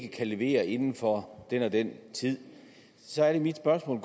ikke kan levere inden for den og den tid så er det mit spørgsmål